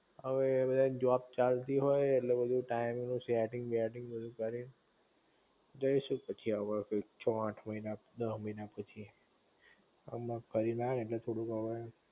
હવે એ બધા ન જોબ ચાલતી હોય ઍટલે બધુ ટાયમ નું બધુ સેટ્ટિંગ બેટિંગ બધુ કરી ને જઇશું પછી હવ છો આઠ મહિના દહ મહિના પછી હમણ ફરી ને આયા ને ઍટલે થોડુંક હવે